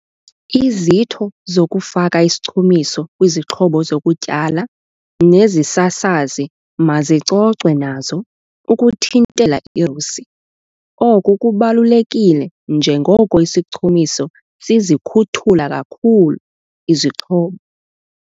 Izitho zokufaka isichumiso kwizixhobo zokutyala nezisasazi mazicocwe nazo ukuthintela irusi, oku kubalulekile njengoko isichumiso sizikhuthula kakhulu izixhobo.